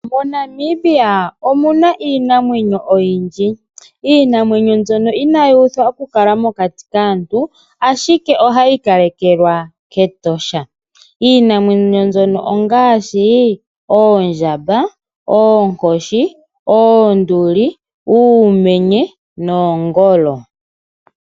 moNamibia omuna iinamwenyo oyindji , Iinamwenyo mbyono inayuthwa oku kala mokati kaantu ashike ohayi kalekelwa ketosha. Iinamwenyo mbyono ongashi, oondjamba, ookoshi oonduli, uumenye nongolo .